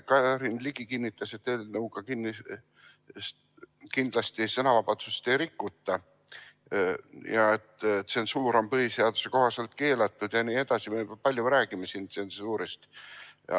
Karin Ligi kinnitas, et eelnõuga sõnavabadust ei rikuta ja et tsensuur on põhiseaduse kohaselt keelatud jne, me räägime siin palju tsensuurist.